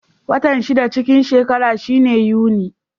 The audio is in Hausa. Watan shida cikin shekara shine Yuni.